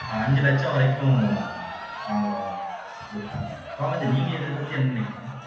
அஹ் அஞ்சு லட்சம் வரைக்கும் வாங்குறோம் துர்கா கோமதி நீங்க இதைப்பத்தி என்ன நினைக்கிறீங்க